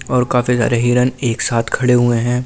और काफी सारे हिरण एक साथ खड़े हुए हैं।